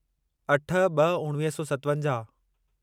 अठ ब॒ उणिवीह सौ सतवंजाहु